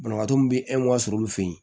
Banabaatɔ min bɛ sɔrɔ olu fɛ yen